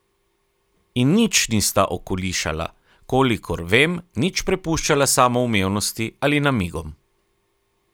In nič nista okolišala, kolikor vem, nič prepuščala samoumevnosti ali namigom.